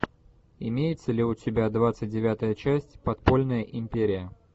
имеется ли у тебя двадцать девятая часть подпольная империя